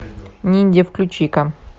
ниндзя включи ка